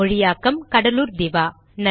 மொழியாக்கம் கடலூர் திவா